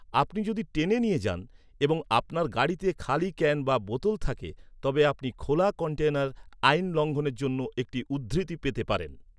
আপনি যদি টেনে নিয়ে যান এবং আপনার গাড়িতে খালি ক্যান বা বোতল থাকে তবে আপনি খোলা কন্টেইনার আইন লঙ্ঘনের জন্য একটি উদ্ধৃতি পেতে পারেন।